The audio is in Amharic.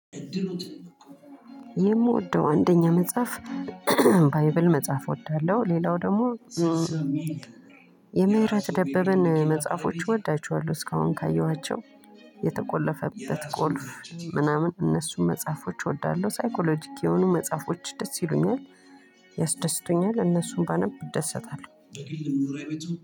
የምወደው አንደኛ መጽሐፍ ባይብል መጽሐፍ እወዳለሁ ሌላው ደግሞ የምህረት ደበበን መጽሐፎች እወዳቸዋለሁ። እስካሁን ካየኋቸው የተቆለፈበት ቁልፍ ምናምን እነሱን መጽሐፎች እወዳለሁ ሳይኮሎጂክ የሆኑ መጽሐፎች ደስ ይሉኛል። ያስደስቱኛል እነሱን ባነብ እደሰታለሁ።